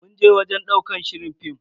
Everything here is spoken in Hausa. Mun je wajen ɗaukar shirin fim.